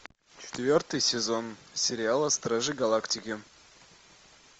четвертый сезон сериала стражи галактики